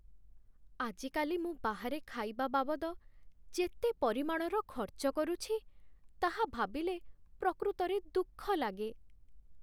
ଆଜିକାଲି ମୁଁ ବାହାରେ ଖାଇବା ବାବଦ ଯେତେ ପରିମାଣର ଖର୍ଚ୍ଚ କରୁଛି, ତାହା ଭାବିଲେ ପ୍ରକୃତରେ ଦୁଃଖ ଲାଗେ।